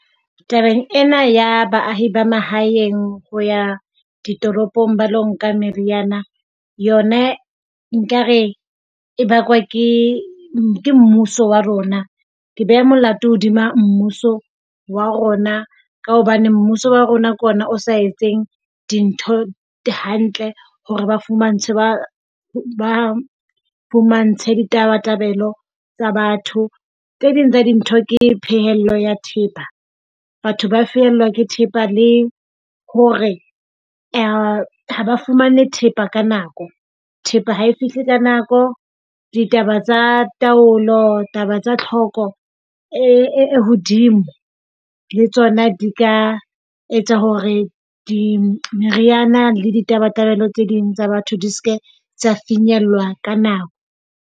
Tabeng ena ya baahi ba mahaeng ho ya ditoropong ba ilo nka meriana yona nkare e bakwa ke mmuso wa rona. Ke beha molato hodima mmuso wa rona, ka hobane mmuso wa rona ke ona o sa etseng dintho hantle. Hore ba fumantshwe ba fumantshwe di tabatabelo tsa batho. Tse ding tsa dintho ke phehello ya thepa, batho ba fellwa ke thepa le hore ha ha ba fumane thepa ka nako. Thepa ha e fihle ka nako. Ditaba tsa taolo. Taba tsa tlhoko e hodimo le tsona di ka etsa hore di meriana le ditabatabelo tse ding tsa batho di se ke tsa finyellwa ka nako.